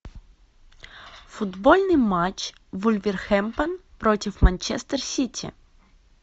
футбольный матч вулверхэмптон против манчестер сити